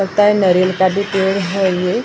पता है नारियल का भी पेड़ है ये और--